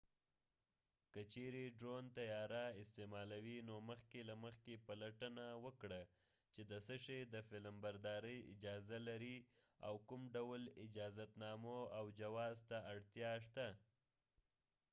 که چیرې ډرون طیاره استعمالوې نو مخکې له مخکې پلټنه وکړه چې د څه شي د فلمبردارۍ اجازه لرې او کوم ډول اجازتنامو او جواز ته اړتیا شته